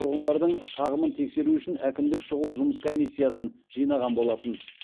тұрғындардың шағымын тексеру үшін әкімдік шұғыл жұмыс комиссиясын жинаған болатын